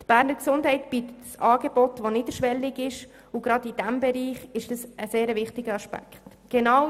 Die Beges bietet ein niederschwelliges Angebot, was besonders in diesem Bereich ein sehr wichtiger Aspekt ist.